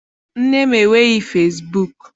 Nne m enweghị fesibuuku.